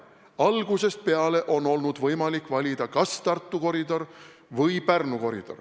Algusest peale on olnud võimalik valida kas Tartu või Pärnu koridor.